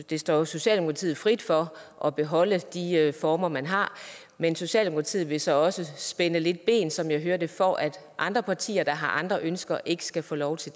det står jo socialdemokratiet frit for at beholde de former man har men socialdemokratiet vil så også spænde lidt ben som jeg hører det for at andre partier der har andre ønsker ikke skal få lov til